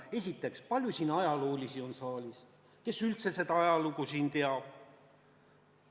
Esiteks, kui palju siin saalis on neid ajaloolasi, kes üldse seda ajalugu teavad?